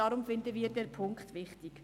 Deshalb finden wir diesen Punkt wichtig.